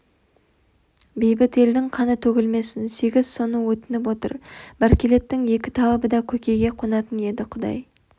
бейбіт елдің қаны төгілмесін сегіз соны өтініп отыр бәркелеттің екі талабы да көкейге қонатын еді құдай